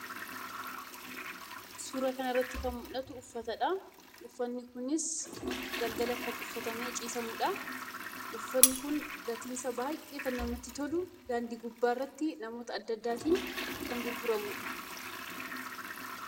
Suuraa kanarratti kan mul'atu uffatadha. Uffanni kunis galgala kan uffatamee ciisamudha. Uffanni kun gatiinsaa baay'ee kan namatti tolu daandii gubbaatti namoota baay'eetiin kan gurguramudha.